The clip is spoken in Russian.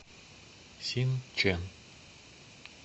синчэн